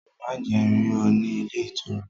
Má jẹ́ n rí ọ ní ilé ìtura!